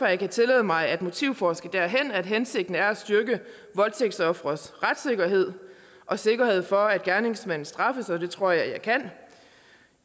jeg kan tillade mig at motivforske derhen at hensigten er at styrke voldtægtsofres retssikkerhed og sikkerhed for at gerningsmanden straffes og det tror jeg jeg kan